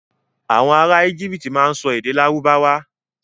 Àwon ará íjíptì má n so èdè lárúbáwà.